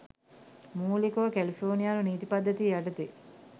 මූලිකව කැලිෆෝනියානු නීති පද්ධතිය යටතේ